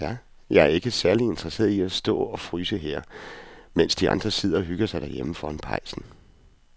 Jeg er ikke særlig interesseret i at stå og fryse her, mens de andre sidder og hygger sig derhjemme foran pejsen.